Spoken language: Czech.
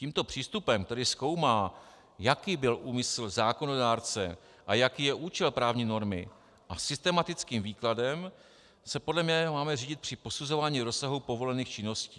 Tímto přístupem tedy zkoumá, jaký byl úmysl zákonodárce a jaký je účel právní normy, a systematickým výkladem se podle mého máme řídit při posuzování rozsahu povolených činností.